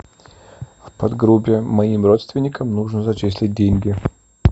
в подгруппе моим родственникам нужно зачислить деньги